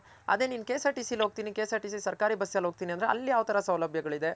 ಅದೆ ನೀನು K S R T Cಹೋಗ್ತೀನ್ K S R T C ಸರ್ಕಾರಿ bus ಅಲ್ ಹೋಗ್ತೀನಿ ಅಂದ್ರೆ ಅಲ್ ಯಾವ್ ತರ ಸೌಲಭ್ಯ ಗಳಿದೆ